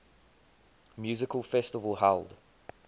music festival held